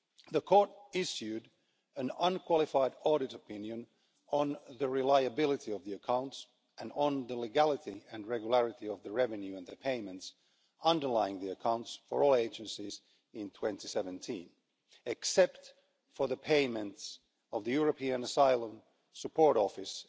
The Court issued an unqualified audit opinion on the reliability of the accounts and on the legality and regularity of the revenue and the payments underlying the accounts for all the agencies in 2017, except for the payments of the European Asylum Support Office